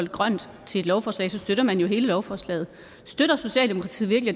grønt til et lovforslag så støtter man hele lovforslaget støtter socialdemokratiet virkelig